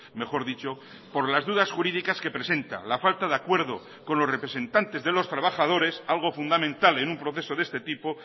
mejor dicho por las dudas jurídicas que presenta la falta de acuerdo con los representantes de los trabajadores algo fundamental en un proceso de este tipo